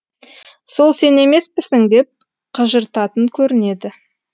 сол сен емеспісің деп қыжыртатын көрінеді